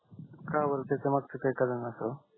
का बर त्याच्या मागच काय कारण असं